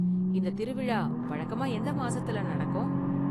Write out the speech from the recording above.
இந்த திருவிழா வழக்கமா எந்த மாசத்துல நடக்கும்?